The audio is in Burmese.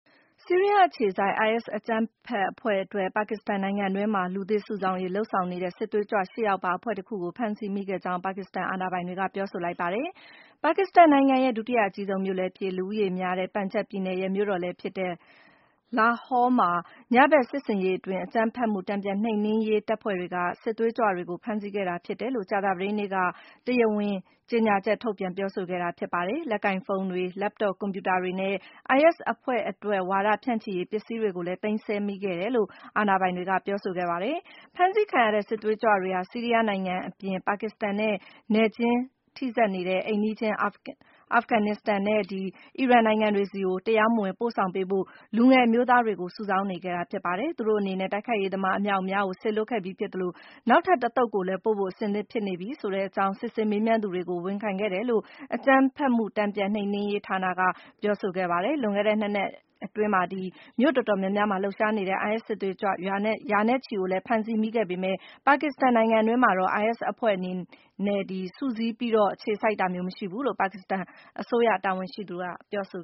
ဆီးရီးယားအခြေစိုက် IS အကြမ်းဖက်အဖွဲ့အတွက် ပါကစ္စတန်နိုင်ငံတွင်းမှာ လူသစ်စုဆောင်းရေး လုပ်ဆောင်နေတဲ့ စစ်သွေးကြွ ၈ ယောက်ပါ အဖွဲ့တခုကို ဖမ်းဆီးမိခဲ့ကြောင်း ပါကစ္စတန်အာဏာပိုင်တွေက ပြောဆိုလိုက်ပါတယ်။ ပါကစ္စတန်နိုင်ငံရဲ့ ဒုတိယအကြီးဆုံးမြို့လည်းဖြစ်၊ လူဦးရေများတဲ့ ပန်ဂျပ်ပြည်နယ်ရဲ့ မြို့တော်လည်းဖြစ်တဲ့ Lahore မှာ ညဘက်စစ်ဆင်ရေးအတွင်း အကြမ်းဖက်မှု တန်ပြန်နှိမ်နင်းရေးတပ်ဖွဲ့တွေက စစ်သွေးကြွတွေကို ဖမ်းဆီးခဲ့တာဖြစ်တယ်လို့ ကြာသပတေးနေ့က တရားဝင် ကြေညာချက်ထုတ်ပြန် ပြောဆိုခဲ့တာဖြစ်ပါတယ်။ လက်ကိုင်ဖုန်းတွေ၊ Laptop ကွန်ပြူတာတွေနဲ့ IS အဖွဲ့အတွက် ဝါဒဖြန့်ချိရေးပစ္စည်းတွေကိုလည်း သိမ်းဆည်းမိခဲ့တယ်လို့ အာဏာပိုင်တွေက ပြောဆိုခဲ့တာပါ။ ဖမ်းဆီးခံရတဲ့ စစ်သွေးကြွတွေဟာ ဆီးရီးယားနိုင်ငံအပြင် ပါကစ္စတန်နဲ့ နယ်စပ်ချင်း ထိစပ်နေတဲ့ အိမ်နီးချင်း အာဖဂန်နစ္စတန်နဲ့ အီရန်နိုင်ငံတွေဆီ တရားမဝင် ပို့ဆောင်ပေးဖို့ လူငယ်အမျိုသားတွေကို စုဆောင်းနေခဲ့တာဖြစ်ပါတယ်။ သူတို့အနေနဲ့ တိုက်ခိုက်ရေးသမား အမြောက်အများကို စေလွှတ်ခဲ့ပြီးဖြစ်သလို နောက်ထပ်တသုတ်ကိုလည်း ပို့ဖို့ အဆင်သင့်ဖြစ်နေပြီ ဆိုတဲ့အကြောင်း စစ်ဆေးမေးမြန်းသူတွေကို ဝန်ခံခဲ့တယ်လို့လည်း အကြမ်းဖက်မှု တန်ပြန်နှိမ်နင်းရေးဌာနက ပြောဆိုပါတယ်။ လွန်ခဲ့တဲ့ ၂ နှစ်အတွင်း မြို့တော်တော်များများမှာ လှုပ်ရှားနေတဲ့ IS စစ်သွေးကြွ ရာနဲ့ချီကို ဖမ်းဆီးမိခဲ့ပေမယ့် ပါကစ္စတန်နိုင်ငံတွင်းမှာတော့ IS အဖွဲ့အနေနဲ့ စုစည်းပြီး အခြေစိုက်ထားတာမျိုး မရှိဘူးလို့လည်း ပါကစ္စတန်အစိုးရ တာဝန်ရှိသူတွေက ပြောဆို